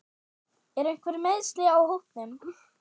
Eru einhver meiðsli á hópnum?